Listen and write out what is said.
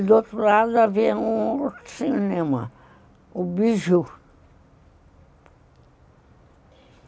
E do outro lado havia um cinema, o Biju.